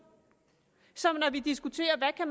som når vi diskuterer hvad